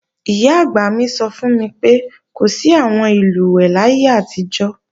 Ìyá-àgbà mi sọ fún mi pé, kò sí àwọn ìlùwẹ̀ẹ̀ láyé àtijọ́